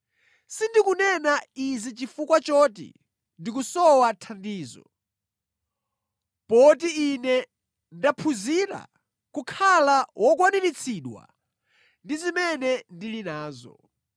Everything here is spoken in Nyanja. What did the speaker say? Sindikunena izi chifukwa choti ndikusowa thandizo, poti ine ndaphunzira kukhala wokwaniritsidwa ndi zimene ndili nazo.